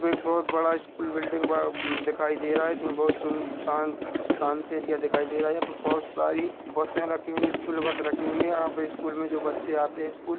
एक बहुत बड़ा स्कूल बिल्डिंग वा दिखाई दे रहा है जिसमे बहुत सुन शांत बिलकुल शांत एरिया दिखाई दे रहा है बहुत सारी बसें रखी हुई है स्कूल बस रखी हुई है यहाँ पर स्कूल में जो बच्चे आते हैं स्कूल --